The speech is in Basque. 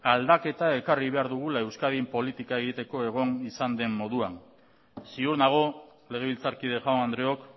aldaketa ekarri behar dugula euskadin politika egiteko egon izan den moduan ziur nago legebiltzarkide jaun andreok